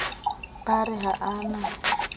ba re ha a na